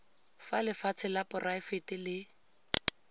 fa lefatshe la poraefete le